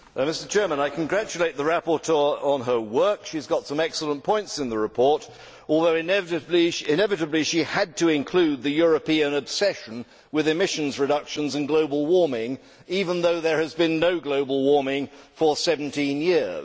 Mr President, I congratulate the rapporteur on her work. She has got some excellent points in the report although, inevitably, she had to include the European obsession with emissions reductions and global warming, even though there has been no global warming for 17 years.